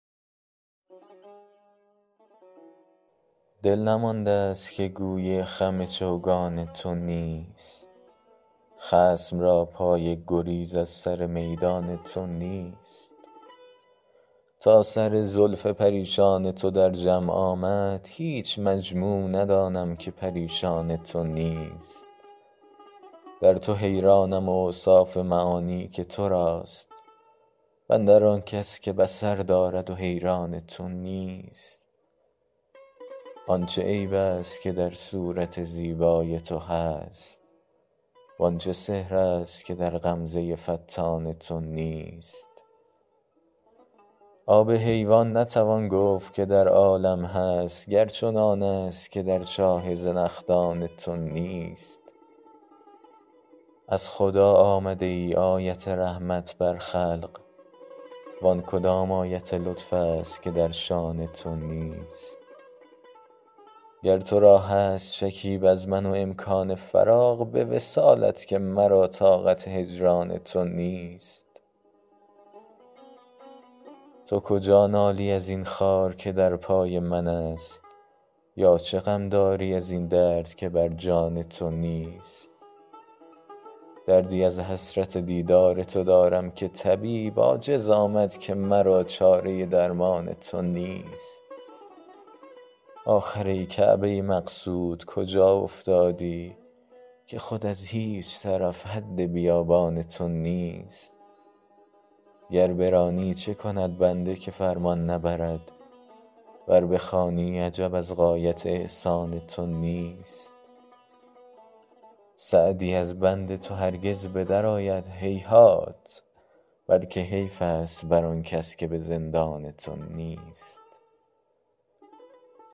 دل نمانده ست که گوی خم چوگان تو نیست خصم را پای گریز از سر میدان تو نیست تا سر زلف پریشان تو در جمع آمد هیچ مجموع ندانم که پریشان تو نیست در تو حیرانم و اوصاف معانی که تو راست و اندر آن کس که بصر دارد و حیران تو نیست آن چه عیب ست که در صورت زیبای تو هست وان چه سحر ست که در غمزه فتان تو نیست آب حیوان نتوان گفت که در عالم هست گر چنانست که در چاه زنخدان تو نیست از خدا آمده ای آیت رحمت بر خلق وان کدام آیت لطف ست که در شأن تو نیست گر تو را هست شکیب از من و امکان فراغ به وصالت که مرا طاقت هجران تو نیست تو کجا نالی از این خار که در پای منست یا چه غم داری از این درد که بر جان تو نیست دردی از حسرت دیدار تو دارم که طبیب عاجز آمد که مرا چاره درمان تو نیست آخر ای کعبه مقصود کجا افتادی که خود از هیچ طرف حد بیابان تو نیست گر برانی چه کند بنده که فرمان نبرد ور بخوانی عجب از غایت احسان تو نیست سعدی از بند تو هرگز به درآید هیهات بلکه حیف ست بر آن کس که به زندان تو نیست